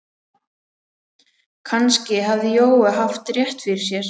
Kannski hafði Jói haft rétt fyrir sér.